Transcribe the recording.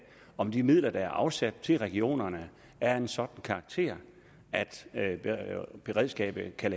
om de midler der er afsat til regionerne er af en sådan karakter at beredskabet kan